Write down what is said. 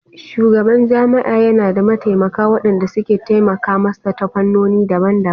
Shugaban jami'a yana da mataimaka waɗanda suke taimaka masa ta fannoni daban-daban